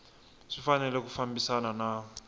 swi fanele ku fambisana na